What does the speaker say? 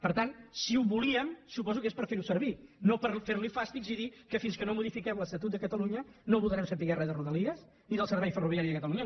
per tant si ho volíem suposo que és per fer ho servir no per fer li fàstics i dir que fins que no modifiquem l’estatut de catalunya no voldrem saber res de rodalies ni del servei ferroviari de catalunya